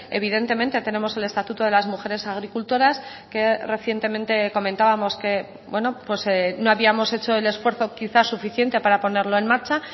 evidentemente tenemos el estatuto de las mujeres agricultoras que recientemente comentábamos que no habíamos hecho el esfuerzo quizá suficiente para ponerlo en marcha